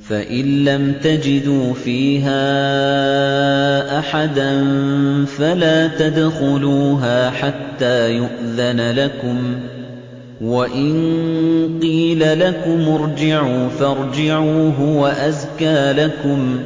فَإِن لَّمْ تَجِدُوا فِيهَا أَحَدًا فَلَا تَدْخُلُوهَا حَتَّىٰ يُؤْذَنَ لَكُمْ ۖ وَإِن قِيلَ لَكُمُ ارْجِعُوا فَارْجِعُوا ۖ هُوَ أَزْكَىٰ لَكُمْ ۚ